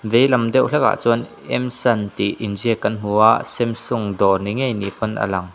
veilam deuh hlek ah chuan M sun tih inziak kan hmu a samsung dawr ni ngei ni pawn a lang.